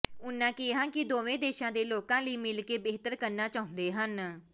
ਉਨ੍ਹਾਂ ਕਿਹਾ ਕਿ ਦੇਵੋਂ ਦੇਸ਼ਾਂ ਦੇ ਲੋਕਾਂ ਲਈ ਮਿਲ ਕੇ ਬਿਹਤਰ ਕਰਨਾ ਚਾਹੁੰਦੇ ਹਨ